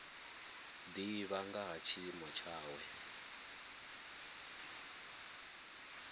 divha nga ha tshiimo tshawe